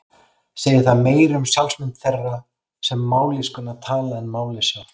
Segir það meira um sjálfsmynd þeirra sem mállýskuna tala en málið sjálft.